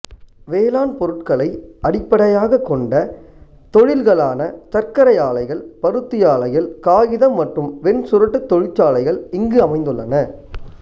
வேளாண் பொருட்களை அடிப்படையாகக் கொண்ட தொழில்களான சர்க்கரை ஆலைகள் பருத்தி ஆலைகள் காகிதம் மற்றும் வெண்சுருட்டு தொழிற்சாலைகள் இங்கு அமைந்துள்ளன